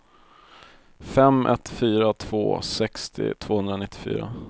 fem ett fyra två sextio tvåhundranittiofyra